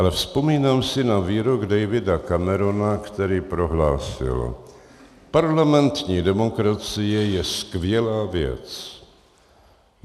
Ale vzpomínám si na výrok Davida Camerona, který prohlásil: "Parlamentní demokracie je skvělá věc.